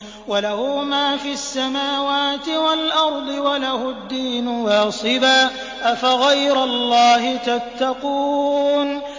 وَلَهُ مَا فِي السَّمَاوَاتِ وَالْأَرْضِ وَلَهُ الدِّينُ وَاصِبًا ۚ أَفَغَيْرَ اللَّهِ تَتَّقُونَ